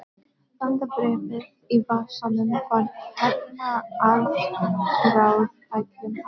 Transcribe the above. Landabréfið í vasanum var hernaðaráætlun hans.